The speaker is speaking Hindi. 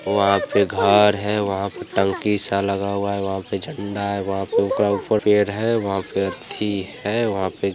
वहा पर पे घर है वहा पे टंकी सा लगा हुआ है वहा पे झंडा है।